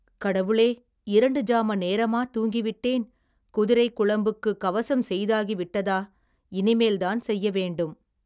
கடவுளே இரண்டு ஜாம நேரமா தூங்கி விட்டேன் குதிரைக் குளம்புக்குக் கவசம் செய்தாகி விட்டதா இனிமேல்தான் செய்ய வேண்டும்.